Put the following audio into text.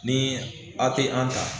Ni a te an ta